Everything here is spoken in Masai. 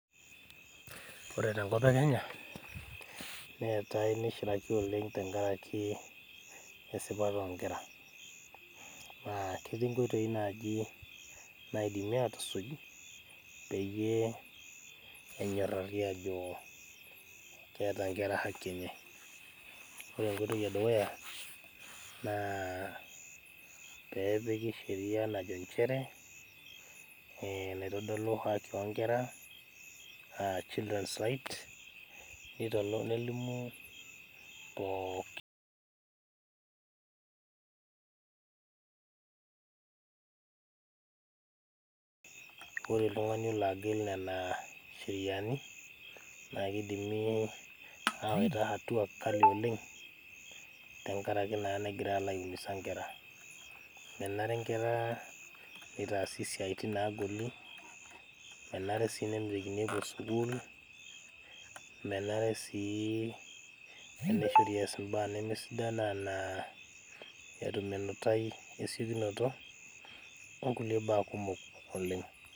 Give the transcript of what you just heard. ore tenkop ee kenya neetae neishiraki oleng' tenkaraki esipata oonkera naa ketii inoitoi naaji naidimi aatusuj peyiee enyorari aajo keeta inkera haki enye ore enkoitoi ee dukuya naa peepiki sheria naaji ajo inchere naitodolu haki oo nkera aa children's rights nelimu pooki ore oltung'ani olo agil nena sheriani naa keidimi awaita hatua kali oleng' tenkaraki naa negira aiumisa inkera menare inkera neitaasi isiaitin naagoli menare sii nemitikini epuo sukul menare sii tenishori eyas imbaa nemesidan enaa etum enutai esiokinoto oo nkulie baa kumok oleng'.